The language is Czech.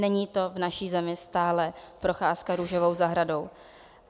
Není to v naší zemi stále procházka růžovou zahradou.